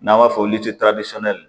N'an b'a fɔ